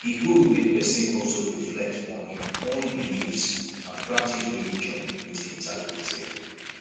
e good make person also reflect on im own beliefs and practice religion with integrity